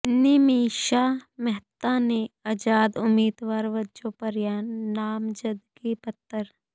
ਨਿਮਿਸ਼ਾ ਮਹਿਤਾ ਨੇ ਆਜ਼ਾਦ ਉਮੀਦਵਾਰ ਵਜੋਂ ਭਰਿਆ ਨਾਮਜ਼ਦਗੀ ਪੱਤਰ